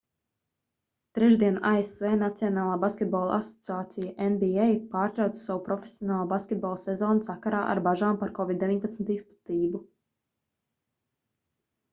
trešdien asv nacionālā basketbola asociācija nba pārtrauca savu profesionālā basketbola sezonu sakarā ar bažām par covid-19 izplatību